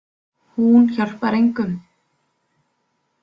Hún hjálpar engum.